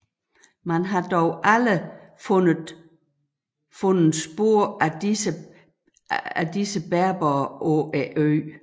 Man har dog aldrig fundet spor af disse berbere på øen